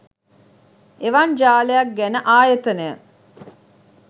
එවන් ජාලයක් ගැන ආයතනය